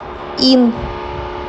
ин